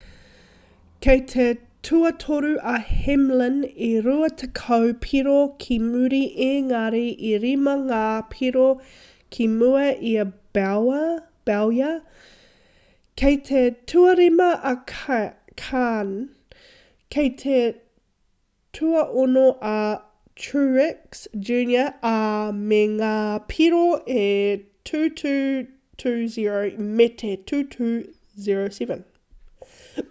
kei te tuatoru a hamlin e rua tekau piro ki muri engari e rima ngā piro ki mua i a bowyer kei te tuarima a kahne kei te tuaono a truex jr ā me ngā piro e 2,220 me te 2,207